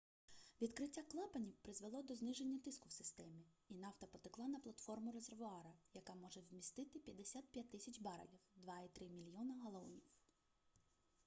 відкриття клапанів призвело до зниження тиску в системі і нафта потекла на платформу резервуара яка може вмістити 55 000 барелів 2,3 мільйона галонів